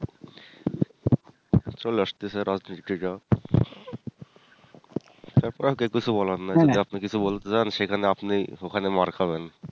চলে আসতেছে রাজনীতিটা কিন্তু আপনার কিছু বলার নাই যদি আপনি কিছু বলতে যান সেখানে আপনি ওখানে মার খাবেন